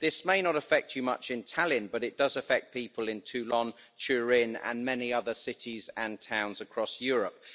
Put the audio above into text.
This may not affect you much in Tallinn, but it does affect people in Toulon, Turin and many other cities and towns across Europe.